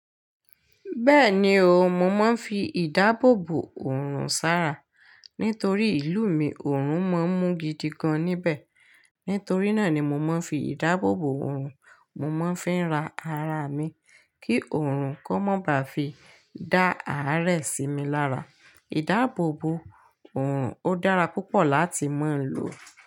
Bẹ́ẹ̀ni o, mo máa ń fi ìdáàbòbò òrùn sára. Nítorí ìlú mi òrùn mọ́ ń mú gidi gan níbẹ̀. Nítorí náà ni mo máa ń fi ìdáàbòbò òrùn mo máa ń fi ń ra ara mi kí òrùn kó má ba fi dá àárẹ̀ sí mi lára. Ìdáàbòbò òrùn ó dára púpọ̀ láti máa ń lò.